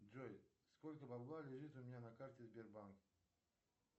джой сколько бабла лежит у меня на карте сбербанка